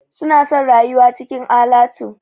Suna son rayuwa cikin alatu.